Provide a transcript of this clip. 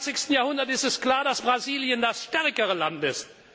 im 21. Jahrhundert ist es klar, dass Brasilien das stärkere Land ist.